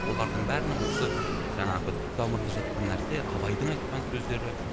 олардың бәрінің осы жаңағы түп тамырында жатқан нәрсе абайдың айтқан сөздері